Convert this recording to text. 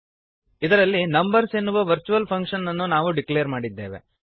ಇದರಲ್ಲಿ ನಂಬರ್ಸ್ ಎನ್ನುವ virtual function ಅನ್ನು ನಾವು ಡಿಕ್ಲೇರ್ ಮಾಡಿದ್ದೇವೆ